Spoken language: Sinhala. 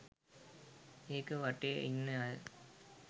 ඒක වටෙ ඉන්න අය